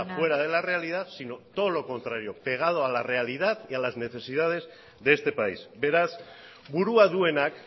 fuera de la realidad sino todo lo contrario pegado a la realidad y a las necesidades de este país beraz burua duenak